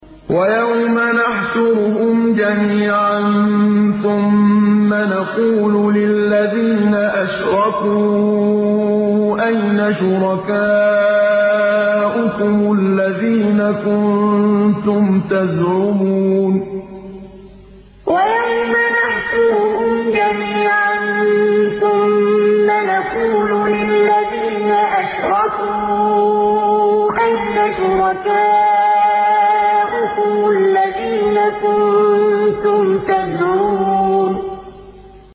وَيَوْمَ نَحْشُرُهُمْ جَمِيعًا ثُمَّ نَقُولُ لِلَّذِينَ أَشْرَكُوا أَيْنَ شُرَكَاؤُكُمُ الَّذِينَ كُنتُمْ تَزْعُمُونَ وَيَوْمَ نَحْشُرُهُمْ جَمِيعًا ثُمَّ نَقُولُ لِلَّذِينَ أَشْرَكُوا أَيْنَ شُرَكَاؤُكُمُ الَّذِينَ كُنتُمْ تَزْعُمُونَ